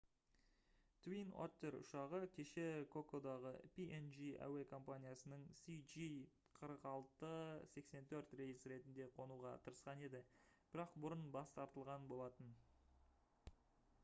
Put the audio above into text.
twin otter ұшағы кеше кокодаға png әуе компаниясының cg4684 рейсі ретінде қонуға тырысқан еді бірақ бұрын бас тартылған болатын